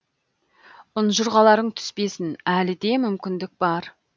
ұнжұрғаларың түспесін әлі де мүмкіндік бар